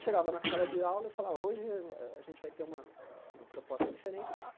Chegava na sala de aula e falava, hoje a a a gente vai ter uma uma uma proposta diferente.